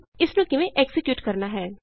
ਇਸਨੂੰ ਕਿਵੇਂ ਐਕਜ਼ੀਕਿਯੂਟ ਕਰਨਾ ਹੈ